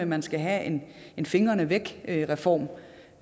man skal have en en fingrene væk reform